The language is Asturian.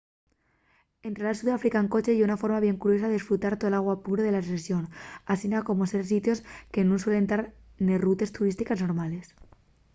entrar a sudáfrica en coche ye una forma bien curiosa d'esfrutar de tola guapura de la rexón asina como de ver sitios que nun suelen tar nes rutes turístiques normales